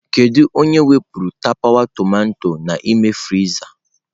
Kedu onye wepụrụ tapawa tomato n'ime friza?